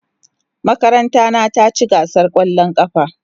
Makaranta na ta ci gasar kwallon kafa.